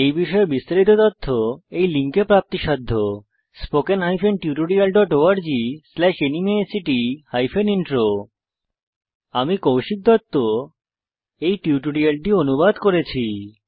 এই বিষয়ে বিস্তারিত তথ্য এই লিঙ্কে প্রাপ্তিসাধ্য spoken hyphen tutorial dot org slash NMEICT hyphen intro আমি কৌশিক দত্ত এই টিউটোরিয়ালটি অনুবাদ করেছি